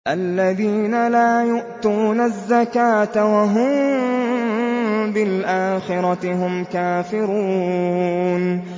الَّذِينَ لَا يُؤْتُونَ الزَّكَاةَ وَهُم بِالْآخِرَةِ هُمْ كَافِرُونَ